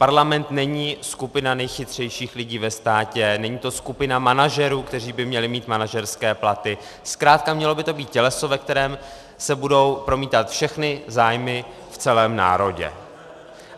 Parlament není skupina nejchytřejších lidí ve státě, není to skupina manažerů, kteří by měli mít manažerské platy, zkrátka mělo by to být těleso, ve kterém se budou promítat všechny zájmy v celém národě.